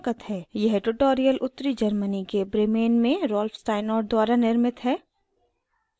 यह ट्यूटोरियल उत्तरी germany के bremen में rolf steinort द्वारा निर्मित है